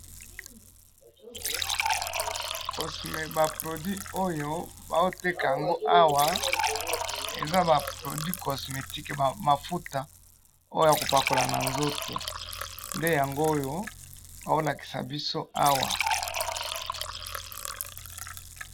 ba produits oyo bazoteka yango awa eza ba produits cosmetics, mafuta oyo yakopakala na nzoto nde yango oyo bazolakisa biso awa